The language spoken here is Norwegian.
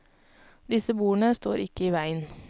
Disse bordene står ikke i veien.